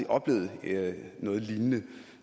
oplevet noget lignende